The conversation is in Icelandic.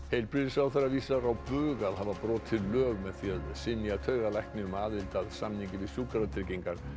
heilbrigðisráðherra vísar á bug að hafa brotið lög með því að synja taugalækni um aðild að samningi við Sjúkratryggingar